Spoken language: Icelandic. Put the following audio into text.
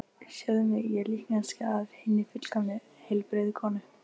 Sjáðu mig, ég er líkneskja af hinni fullkomnu, heilbrigðu konu.